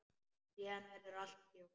Síðan verður allt hljótt.